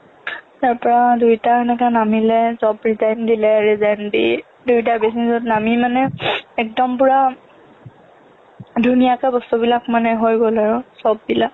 তাৰ পৰা দুইটাই এনেকে নামিলে job resign দিলে resign দি দিয়োটাই business ত নামি মানে একেদম পুৰা ধুনীয়াকে বস্তুবিলাক হৈ গ'ল আৰু চববিলাক